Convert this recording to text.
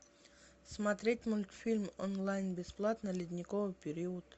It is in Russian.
смотреть мультфильм онлайн бесплатно ледниковый период